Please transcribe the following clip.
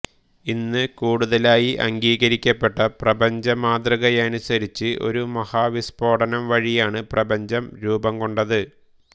ഇന്ന് കൂടുതലായി അംഗീകരിക്കപ്പെട്ട പ്രപഞ്ചമാതൃകയനുസരിച്ച് ഒരു മഹാവിസ്ഫോടനം വഴിയാണ് പ്രപഞ്ചം രൂപം കൊണ്ടത്